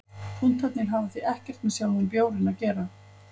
Punktarnir hafa því ekkert með sjálfan bjórinn að gera.